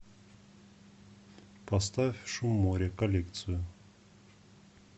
поставь шум моря коллекцию